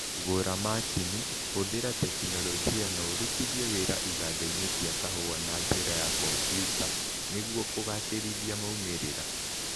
Gũra macini, huthĩra tekinoronjĩ na ũrũtithie wĩra iganda-inĩ cia kahũa na njĩra ya kompiuta nĩguo kũgacĩrithia maũmĩrĩra